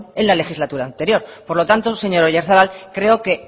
en la legislatura anterior por lo tanto señor oyarzabal creo que